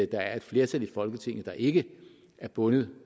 der er et flertal i folketinget der ikke er bundet